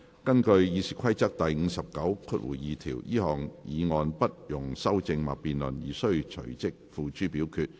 根據《議事規則》第592條，這項議案不容修正或辯論而須隨即付諸表決。